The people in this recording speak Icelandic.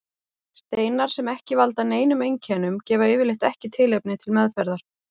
Steinar sem ekki valda neinum einkennum gefa yfirleitt ekki tilefni til meðferðar.